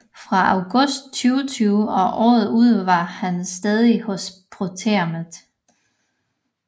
Fra august 2020 og året ud var han stagiaire hos proteamet